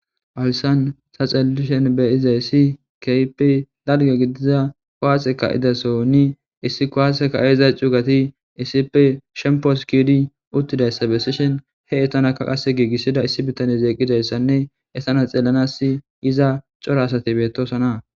Haysan xelishen beyizay si kaypi dalge gidiza kowaaxe ka idasonni issi koaaseka7eeza cuugati issipe shempos kidi uttidayssa bessishin he etanaka qase giigissida issi bittanye zeeqidayssanne etana xelanas iza coro asati bettoosana